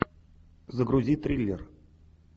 загрузи триллер